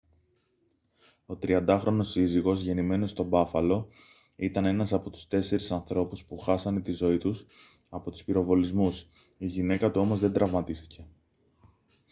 ο 30χρονος σύζυγος γεννημένος στο μπάφαλο ήταν ένας από τους τέσσερις ανθρώπους που χάσανε τη ζωή τους από τους πυροβολισμούς η γυναίκα του όμως δεν τραυματίστηκε